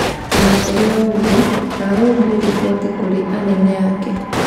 Ona kũrĩ ũguo, ndahũrire riboti kũrĩ anene ake.